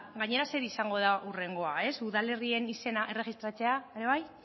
gainera zer izango da hurrengoa ez udalerrien izena erregistratzea